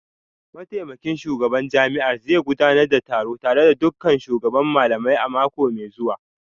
Mataimakin shugaban jami'ar zai gudanar da taro tare da dukkan shugaban malamai a mako mai zuwa